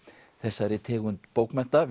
þessari tegund bókmennta